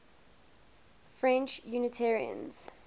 french unitarians